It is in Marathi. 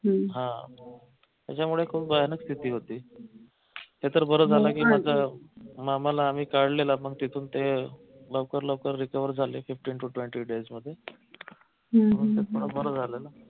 हा त्याच्यामुळे खूप भयानक स्थिती होती नाही तर बर झालं की माझ्या मामाला आम्ही काढलेलं पण तिथून ते लवकर लवकर recover झाले fifteen to twenty days मध्ये बर झालं